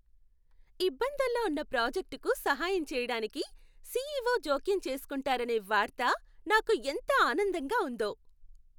ఇబ్బందుల్లో ఉన్న ప్రాజెక్టుకు సహాయం చేయడానికి, సిఇఒ జోక్యం చేస్కుంటున్నారనే వార్త నాకు ఎంత ఆనందంగా ఉందో!